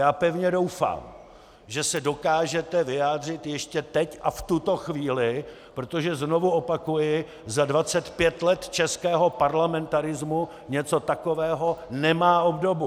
Já pevně doufám, že se dokážete vyjádřit ještě teď a v tuto chvíli, protože znovu opakuji, za 25 let českého parlamentarismu něco takového nemá obdobu!